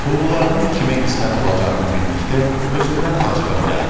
Hulularımın kimə qismət olacağını bildikdə özümdən acığım gəldi.